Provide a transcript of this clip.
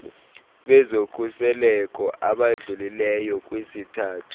bezokhuseleko abadlulileyo kwisithathu